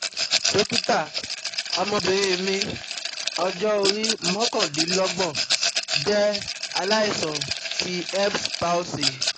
Dokita, Ọmọbìnrin mi ọjọ́ orí mokandinlogbon jẹ́ alaisan ti erb's palsy